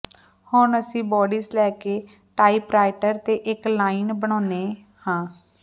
ਹੁਣ ਅਸੀਂ ਬੌਡੀਸ ਲੈ ਕੇ ਟਾਈਪਰਾਈਟਰ ਤੇ ਇੱਕ ਲਾਈਨ ਬਣਾਉਂਦੇ ਹਾਂ